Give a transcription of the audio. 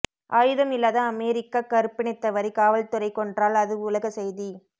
ஆயுதம் இல்லாத அமெரிக்க கறுப்பினத்தவரை காவல்துறை கொன்றால் அது உலக செய்தி